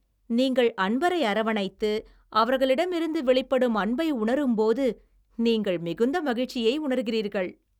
நீங்கள் அன்பரை அரவணைத்து, அவர்களிடமிருந்து வெளிப்படும் அன்பை உணரும்போது நீங்கள் மிகுந்த மகிழ்ச்சியை உணர்கிறீர்கள்.